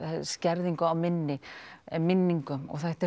skerðingu á minni eða minningum og þetta